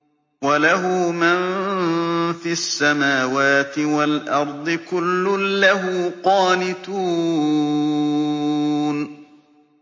وَلَهُ مَن فِي السَّمَاوَاتِ وَالْأَرْضِ ۖ كُلٌّ لَّهُ قَانِتُونَ